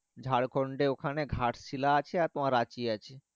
ঝাড়খন্ড এ ওখানে ঘাটশিলা আছে তোমার রাচি আছে।